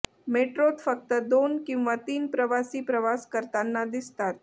मेट्रोत फक्त दोन किंवा तीन प्रवासी प्रवास करताना दिसतात